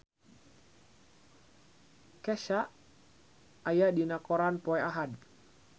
Kesha aya dina koran poe Ahad